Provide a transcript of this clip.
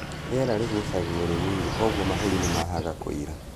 Riera rĩgucagio rĩnini koguo mahũri nĩ mahaga kũira.